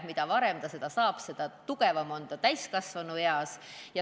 Mida varem ta abi saab, seda tugevam on ta täiskasvanueas.